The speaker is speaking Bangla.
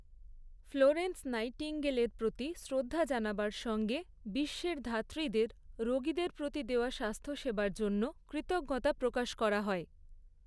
ফ্লোরেন্স নাইটিঙ্গেলের প্ৰতি শ্ৰদ্ধা জানাবার সঙ্গে বিশ্বের ধাত্রীদের রোগীদের প্ৰতি দেওয়া স্বাস্থ্যসেবার জন্য কৃতজ্ঞতা প্ৰকাশ করা হয়।